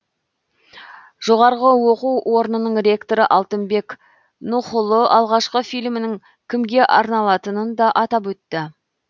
жоғарғы оқу орнының ректоры алтынбек нұхұлы алғашқы фильмнің кімге арналатынын да атап өтті